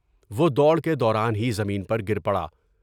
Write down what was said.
وہ دوڑ کے دوران ہی زمین پر گر پڑا ۔